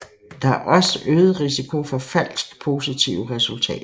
Der er også øget risiko for falsk positive resultater